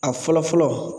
A fɔlɔ fɔlɔ